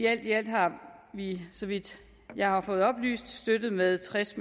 alt i alt har vi så vidt jeg har fået oplyst støttet med tres